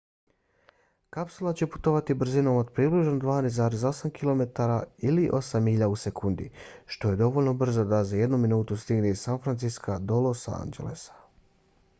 kapsula će putovati brzinom od približno 12,8 km ili 8 milja u sekundi što je dovoljno brzo da za jednu minutu stigne iz san francisca do los angelesa